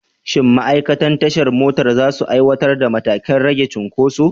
Shin ma'aikatan tashar motoci za su aiwatar da matakan rage cunkoso?